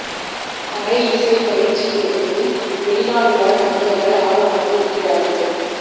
பறை இசை பயிற்சி பெறுவதில் வெளிநாடு வாழ் தமிழர்கள் ஆர்வமாக இருக்கிறார்கள்